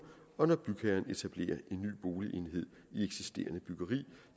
og når bygherren etablerer en ny boligenhed i eksisterende byggeri